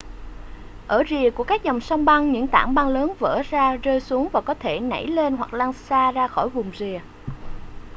ở rìa của các dòng sông băng những tảng băng lớn vỡ ra rơi xuống và có thể nẩy lên hoặc lăn xa ra khỏi vùng rìa